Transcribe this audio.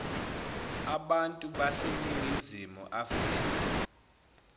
abantu baseningizimu afrika